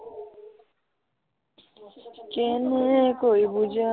কেনেকৈ বুজাও